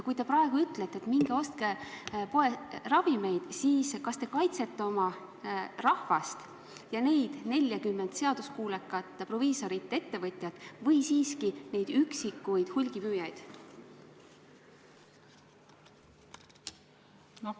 Kui te praegu ütlete, et minge ostke ravimeid, siis kas te kaitsete oma rahvast ja neid 40 seaduskuulekat proviisorit-ettevõtjat või siiski neid üksikuid hulgimüüjaid?